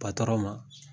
ma